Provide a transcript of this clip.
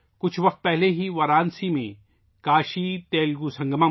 کچھ وقت پہلے ہی وارانسی میں کاشیتیلگو سنگمم بھی ہوا تھا